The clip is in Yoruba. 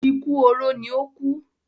Ikú oró ní ó kú